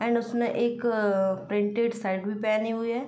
And उसने एक printed shirt भी पहनी हुई है।